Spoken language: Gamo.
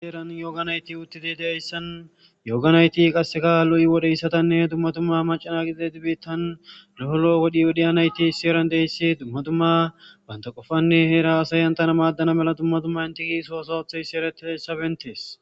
Heeran yooganayti uttidi daeyssan yooganayti qasseka lu7i wodheyssatanne dumma dumma macana gidide di biittan doholoo wodhiodiyanayti si eran deyssi dumma dumma banta qofanne heera asayan tana maaddana mela dumma dumma intiki soosoathaysi eretie sabentees.